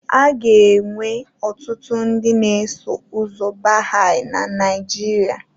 A ga-enwe ọtụtụ ndị na-eso ụzọ Baha'i na Nigeria.